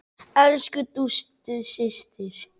Elsku Dúdú systir.